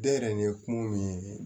Den yɛrɛ nin ye kun min ye